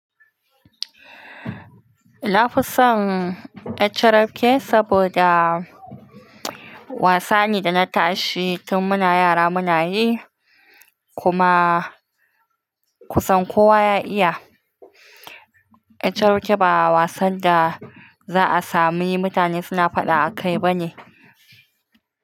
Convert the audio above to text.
Nafisan yar carafke saboda wasa ne da na tashi tun muna yara muna yi kuma kusan kowa ya iya. Yar carafke ba wasan da za a sami mutane suna faɗa akai bane.